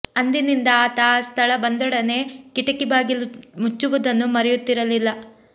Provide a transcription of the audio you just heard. ಅಂದಿನಿಂದ ಆತ ಆ ಸ್ಥಳ ಬಂದೊಡನೆ ಕಿಟಕಿ ಬಾಗಿಲು ಮುಚ್ಚುವುದನ್ನು ಮರೆಯುತ್ತಿರಲಿಲ್ಲ